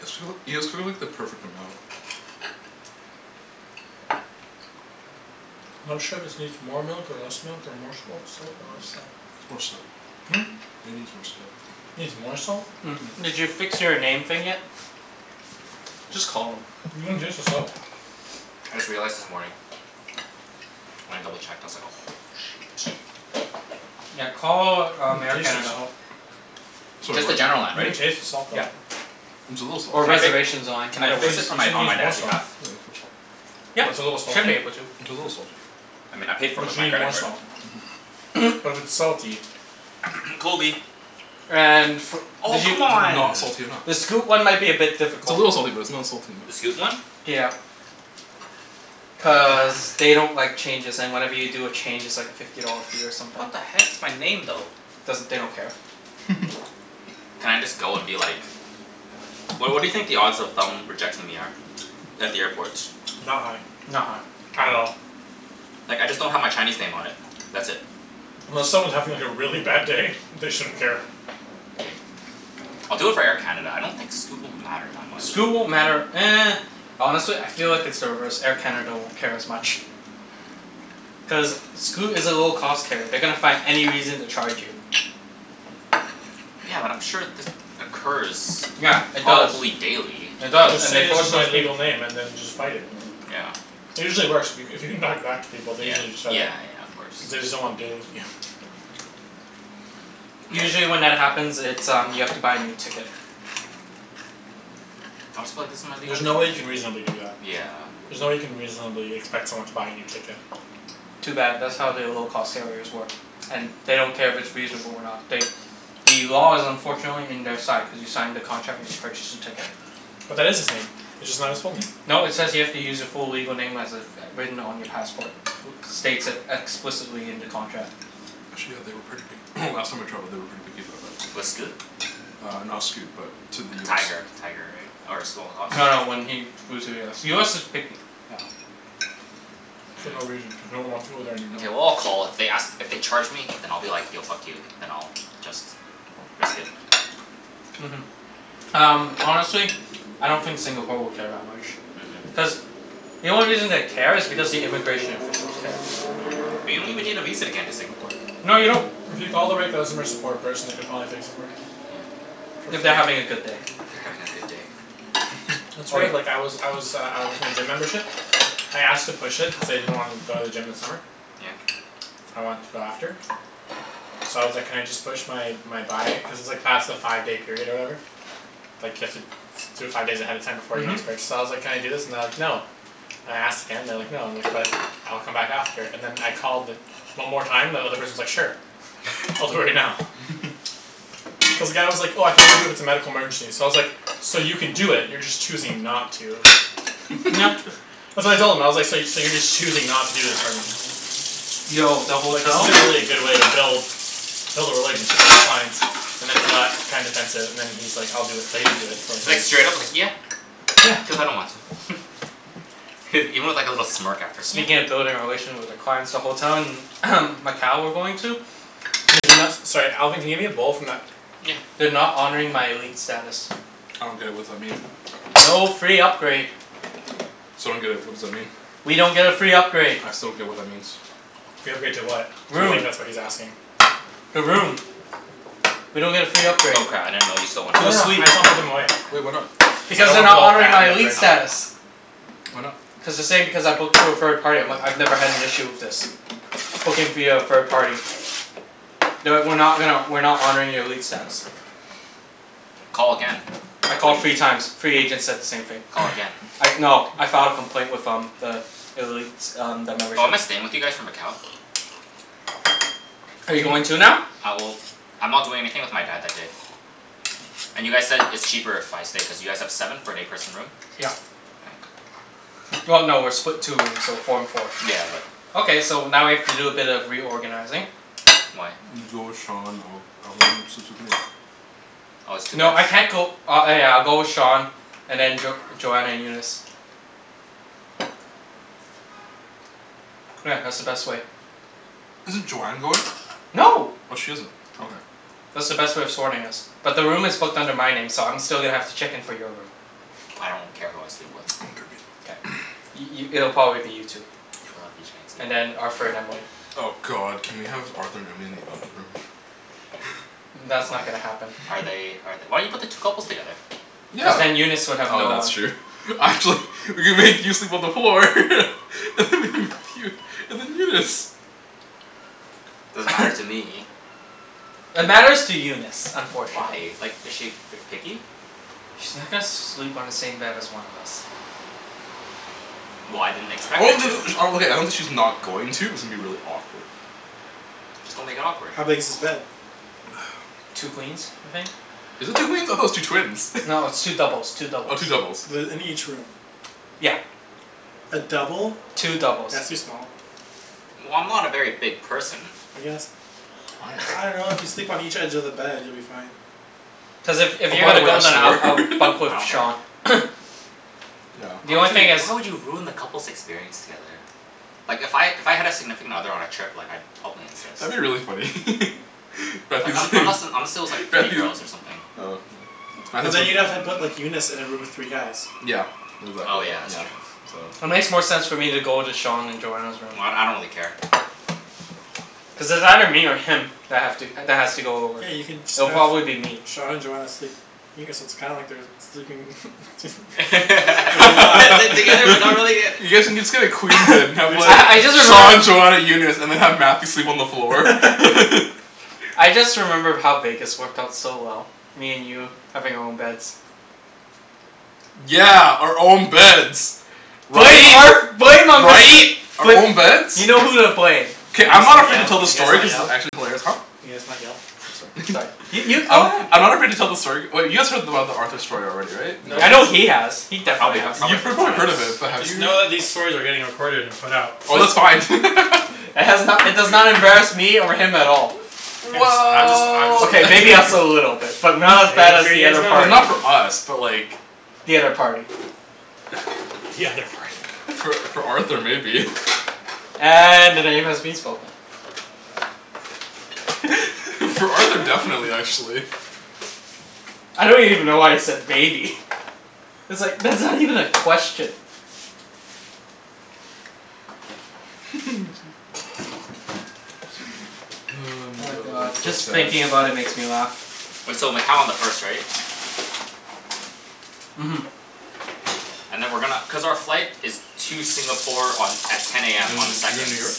You guys too- you guys cooked like the perfect amount. Not sure if this needs more milk or less milk or more salt salt or less salt. More salt. Hmm? It needs more salt. Needs more salt? Did you fix your name thing yet? Just call them. You can taste the salt. I just realized this morning. When I double checked I was like "Oh shoot." Yeah, call um Air taste the Canada. salt. Sorry, Just the what? general line, You can right? taste the salt though. Yep. It's a little salty. Or Can I fi- reservations line, can I either Cuz fix works. this for you said it my, on my needs more dad's salt. behalf? Yeah, it needs more salt. Yeah, What's a little should be salty? able to. It's a little salty. I mean I paid for it But with you my need credit more card. salt. Mhm. But it's salty. Kobe. And fo- Oh did you, c'mon. Not salty enough. the Scoot one might be a bit It's a difficult. little salty but it's not salty The Scoot enough. one? Yeah. Cuz God damn. they don't like changes and whenever you do a change it's like a fifty dollar fee or something. What the heck, it's my name though. Doesn't, they don't care. Can I just go and be like What what do you think the odds of them rejecting me are? At the airport. Not high. Not high. At all. Like I just don't have my Chinese name on it. That's it. Unless someone's having like a really bad day they shouldn't care. K, I'll do it for Air Canada. I don't think Scoot will matter that much. Scoot won't matter Honestly I feel like it's the reverse, Air Canada won't care as much. Cuz Scoot is a low cost carrier. They're gonna find any reason to charge you. Yeah, but I'm sure this occurs Yeah, it does. probably daily. It does Just and say they this force is my those peop- legal name and then just fight it. Yeah. It usually works. If you c- if you can talk back to people they Yeah. usually set it. Yeah yeah, of course. Cuz they just don't wanna deal with you. Yes. Usually when that happens it's um you have to buy a new ticket. I'll just be like, "This is my legal There's no way you name," yeah. can reasonably do that. Yeah. There's no way you can reasonably expect someone to buy a new ticket. Too bad, that's how they low cost carriers work. And they don't care if it's reasonable or not, they The law is unfortunately in their side cuz you signed the contract when you purchased the ticket. But that is his name. It's just not his full name. No, it says you have to use your full legal name as it's written on your passport. States it explicitly in the contract. Actually yeah, they were pretty pic- last time I traveled they were pretty picky about that With Scoot? Uh not Scoot, but to the US. Tiger. Tiger, right? Or Small Hoss? No, when he flew to US. US is picky. Yeah. For no reason, Hmm. cuz no one wants to go there anymore. Mkay, well I'll call, if they ask, if they charge me then I'll be like, "Yo, fuck you." Then I'll just risk it. Mhm. Um honestly I don't think Singapore will care that much. Mhm. Cuz the only reason they care is because the immigration officials care. But you don't even need a visa to get into Singapore. No you don't. If you call the right customer support person they could probably fix it for you. For If free. they're having a good day. They're having a good day? That's Oh right, yeah. like I was I was uh uh with my gym membership. I asked to push it, cuz I didn't wanna go to the gym this summer. Yeah? I want to go after. So I was like "Can I just push my my buy" cuz it's like past the five day period or whatever. Like you have to do it five days ahead of time before the Mhm. next purchase, so I was like, "Can I do this?" and they're like, "No." And I asked again and they're like "No." And I'm like, "But, I'll come back after." And then I called the one more time and the other person's like "Sure." "I'll do it right now." Cuz the guy was like, "Oh I can only do it if it's a medical emergency." So I was like, "So you can do it, you're just choosing not to." Uh so I told him I was like, "So you so you're just choosing not to do this for me." Yo, the Like this hotel isn't really a good way to build Build a relationship with your clients and then he got kinda defensive and then he's like, "I'll do it." But he didn't do it for like at Like least straight up like "Yeah, Yeah. cuz I don't want to." Even with like a little smirk after. "Yeah." Speaking of building a relation with the clients the hotel in Macau we're going to Can you Is no- Sorry Alvin can you hand me a bowl from that Yeah. They're not honoring my elite status. I don't get it, what's that mean? No free upgrade. So I don't get it, what does that mean? We don't get a free upgrade. I still don't get what that means. Free upgrade to what? I Room. think that's what he's asking. The room. We don't get a free upgrade. Oh cra- I didn't know you still wanted To No a no, I suite. just wanna put them away. Well, why not? Cuz I Because don't they're wanna put a not whole honoring pan my in the elite Okay. fridge. status. Why not? Cuz they're saying because I booked through a third party I'm like, "I've never had an issue with this." Booking via a third party. "No, we're not gonna, we're not honoring your elite status." Call again, I I bet called three you times, three agents said the same thing. Call again. I no I filed a complaint with um the elite um the membership. Oh, am I staying with you guys for Macau? Are you going too now? Uh well, I'm not doing anything with my dad that day. And you guys said it's cheaper if I stay cuz you guys have seven for an eight person room? Yeah. Well no, we're split two rooms, so four and four. Yeah, but Okay, so now we have to do a bit of reorganizing. Why? You go with Sean, I'll I'll go in and sleep with Nate. Oh it's two beds? No I can't go, uh oh yeah I'll go with Sean and then Jo- Joanna and Eunice. Yeah, that's the best way. Isn't Joanne going? No. Oh she isn't. Okay. That's the best way of sorting us. But the room is booked under my name so I'm still gonna have to check in for your room. I don't care who I sleep with. K. I- i- it'll probably be you two. I love you And Chancey. then Arthur and Emily. Oh god, can we have Arthur and Emily in the other room? That's Oh. not gonna happen. Are they are th- why you put the two couples together? Cuz Yeah, then Eunice would have oh no one. that's true We could make you sleep on the floor and then Eunice. Doesn't matter to me. It matters to Eunice, Why? unfortunately. Like is she ver- picky? She's not gonna sleep on the same bed as one of us. Well, I didn't expect her to. Okay, I don't think she's not going to, it's gonna be really awkward. Just don't make it awkward. How big is this bed? Two queens, I think. Is it two queens? I thought it was two twins. No, it's two doubles, two Oh, doubles. two doubles. The in each room. Yeah. A double? Two doubles. That's too small. Well, I'm not a very big person. I guess. I I am. dunno, if you sleep on each edge of the bed you'll be fine. Plus if if Oh you're by the gonna way go I then I'll snore I'll bunk I with don't care. Sean. Yeah. The How only would thing is you, how would you have ruined the couples' experience together? Like if I, if I had a significant other on a trip like I'd probably insist. That'd be really funny Like un- unless and unless it was like three Matthew girls or something. Oh yeah, But Matthew's then you'd have have room. to put Eunice in a room with three guys. Yeah. Oh Exactly, yeah, that's yeah. true. So It makes more sense for me to go into Sean and Joanna's room. Well d- I don't really care. Cuz it's either me or him that have to that has to go over. Yeah, you can just It'll have probably be me. Sean and Joanna sleep. Yeah, so it's kinda like they're sleeping They're but they're not together but not really yet. You guys can just get a queen bed and We have can like I I just just Sean remembered Joanna Eunice, and then have Matthew sleep on the floor. I just remember how Vegas worked out so well. Me and you having our own beds. Yeah, our own beds. Blame Right? Arth- blame um Mister. Right? Our own beds? You know who to blame. Can K, you I'm guys not not afraid yell? to tell Can the you guys story not cuz it's yell? actually hilarious. Huh? Can you guys not yell? I'm sorry Sorry, you you go I'm ahead. I'm not afraid to tell the story, wait you guys heard about the Arthur story already, right? Nope. In I know Vegas? he has. He I definitely probably got has. I You probably forgot. heard of it but have Just you know that these stories are getting recorded and put out. Oh that's It's fine It has no- it does not embarrass me over him at all. Guys I'm just I'm just Well K, making sure maybe you us guys a little bit. But not as bad Making as sure you the guys other know. I mean party. not for us but like The other party. The other party. For for Arthur maybe. And the name has been spoken. For Arthur, definitely actually. I don't even know why you said maybe. It's like, that's not even a question. my Oh god, god, that's just so sad. thinking about it makes me laugh. Wait, so Macau on the first right? Mhm. And then we're gonna, cuz our flight is to Singapore on, at ten You AM on the doin' you're goin' second. to New York?